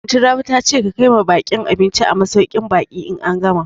Anty Rabi ta ce ka kaima baƙin abinci a masauƙin baƙi in an gama